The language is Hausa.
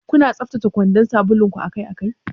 Kuna tsaftace kwandan sabulun akai-akai?